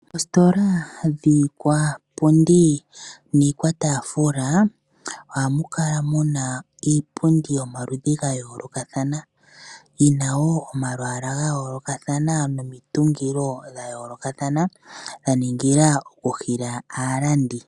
Oositola dhiikwapundi niikwataafula ohamu kala muna iipundi yomaludhi ga yoolokathana. Yi na wo omalwaala ga yoolokathana nomitungilo dha yoolokathana dha ningila oku hila aalandi.